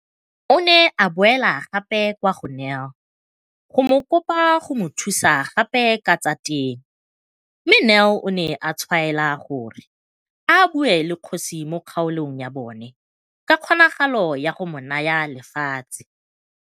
O ne a boela gape kwa go Nel go mo kopa go mo thusa gape ka tsa temo mme Nel o ne a tshwaela gore a bue le kgosi mo kgaolong ya bona ka kgonagalo ya go mo naya lefatshe.